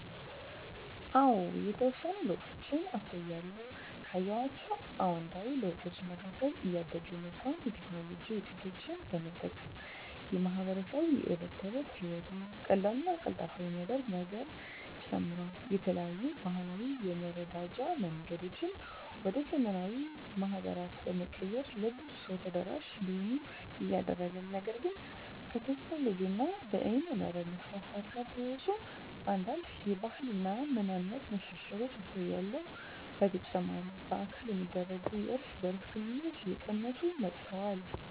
አዎ የተወሰኑ ለውጦችን አስተውያለሁ። ካየኋቸው አዉንታዊ ለውጦች መካከል እያደገ የመጣውን የቴክኖሎጂ ዉጤቶች በመጠቀም ማህበረሰቡ የእለት ተለት ህይወቱን ቀላልና ቀልጣፋ የማድረግ ነገሩ ጨምሯል። የተለያዩ ባህላዊ የመረዳጃ መንገዶችን ወደ ዘመናዊ ማህበራት በመቀየር ለብዙ ሰው ተደራሽ እንዲሆኑ እያደረገ ነው። ነገር ግን ከቴክኖሎጂ እና በይነመረብ መስፋፋት ጋር ተያይዞ አንዳንድ የባህል እና ማንነት መሸርሸሮች አስተውያለሁ። በተጨማሪ በአካል የሚደረጉ የእርስ በእርስ ግንኙነቶች እየቀነሱ መጥተዋል።